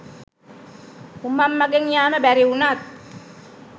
උමං මගෙන් යාම බැරි වුණත්